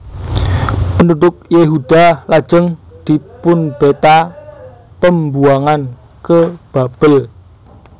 Penduduk Yehuda lajeng dipunbheta Pembuangan ke Babel